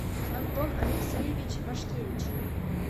антон алексеевич вашкевич